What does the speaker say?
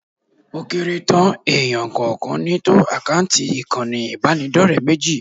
Ó kéré tán èèyàn kọ̀ọ̀kan ni tó àkáǹtì ìkànnì ìbánidọ́rẹ̀ẹ́ méjì